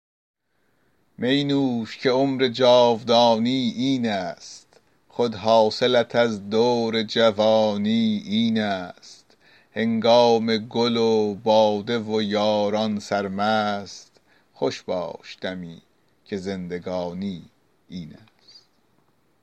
می نوش که عمر جاودانی این است خود حاصلت از دور جوانی این است هنگام گل و باده و یاران سرمست خوش باش دمی که زندگانی این است